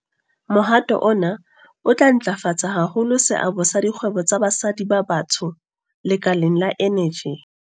Mohato ona o tla ntlafatsa haholo seabo sa dikgwebo tsa basadi ba batsho lekaleng la eneji.